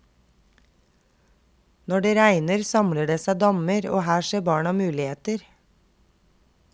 Når det regner, samler det seg dammer, og her ser barna muligheter.